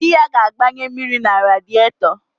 Di ya ga-agbanye mmiri na radịetọ